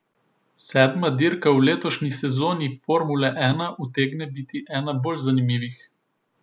Sedma dirka v letošnji sezoni formule ena utegne biti ena bolj zanimivih.